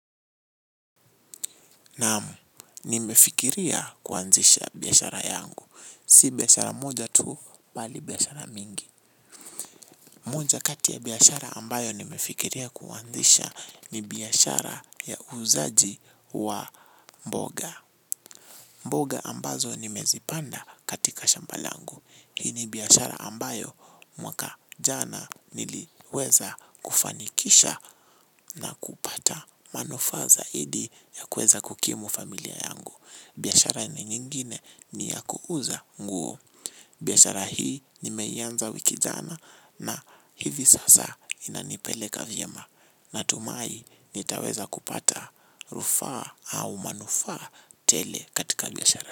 Naam, nimefikiria kuanzisha biashara yangu. Si biashara moja tu, bali biashara mingi. Moja kati ya biashara ambayo nimefikiria kuanzisha ni biashara ya uuzaji wa mboga. Mboga ambazo nimezipanda katika shambalangu. Hii ni biashara ambayo mwaka jana niliweza kufanikisha na kupata manufaa zaidi ya kuweza kukimu familia yangu. Biashara ni nyingine ni ya kuuza nguo. Biashara hii nimeianza wiki jana na hivi sasa inanipeleka vyema. Natumai nitaweza kupata rufaa au manufaa tele katika biashara.